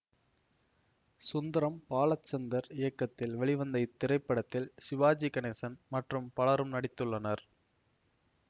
சுந்தரம் பாலச்சந்தர் இயக்கத்தில் வெளிவந்த இத்திரைப்படத்தில் சிவாஜி கணேசன் மற்றும் பலரும் நடித்துள்ளனர்